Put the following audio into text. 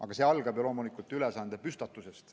Aga kõik algab ju ülesande püstitusest.